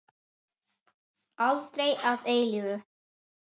Aldrei að eilífu.